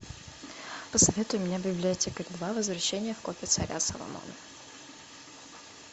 посоветуй мне библиотекарь два возвращение в копи царя соломона